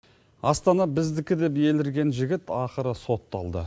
астана біздікі деп елірген жігіт ақыры сотталды